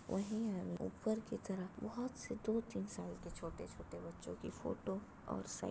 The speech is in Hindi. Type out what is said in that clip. वहीं ऊपर ही तरफ बहोत से दो-तीन साल के छोटे-छोटे बच्चों की फोटो और साइकिल --